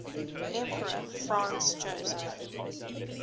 emperor franz joseph